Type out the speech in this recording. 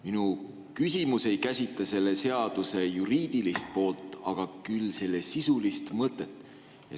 Minu küsimus ei käsitle selle seaduse juriidilist poolt, küll selle sisulist mõtet.